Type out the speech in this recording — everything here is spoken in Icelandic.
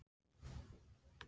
Er enn að því.